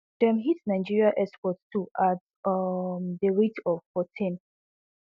dem hit nigeria exports too at um a rate of fourteen